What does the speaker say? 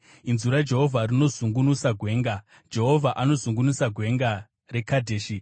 Inzwi raJehovha rinozungunusa gwenga; Jehovha anozungunusa Gwenga reKadheshi.